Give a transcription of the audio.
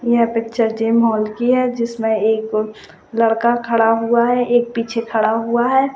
यह picture gym hall की है जिसमे एक लड़का खड़ा हुआ है एक पिछे खड़ा हुआ है।